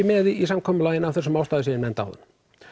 með í samkomulaginu að þessum ástæðum sem ég nefndi áðan